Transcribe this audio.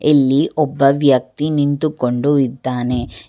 ಇಲ್ಲಿ ಒಬ್ಬ ವ್ಯಕ್ತಿ ನಿಂತುಕೊಂಡು ಇದ್ದಾನೆ.